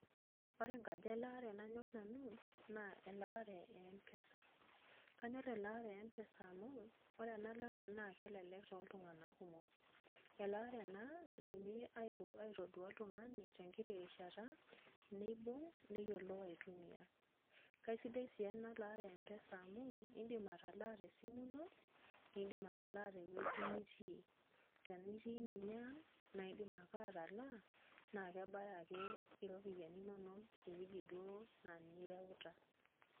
ore elaare nanyor nanu naa elaare eempesa. kanyor elaare empesa mu, ore ena lare naa kelelek tooltunganak kumok. elaare ena, naidimi aitodua oltungani tenkiti, rishata neibung' neyiolou aitumia. kaisidai sii ena llaare empesa mau iidim atala, te simu ino. idim atalaaa tewuei nitii. ntenaa itii ninye ang' naa idim ake atalaa na kebaya ek iropiyiani inonok, eweuji duoo naa ninye ireuta.